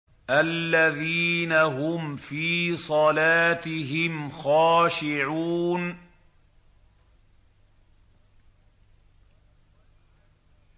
الَّذِينَ هُمْ فِي صَلَاتِهِمْ خَاشِعُونَ